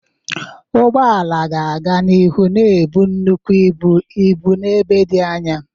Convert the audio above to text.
Ụgbọ ala ga-aga n'ihu na-ebu nnukwu ibu ibu n'ebe dị anya.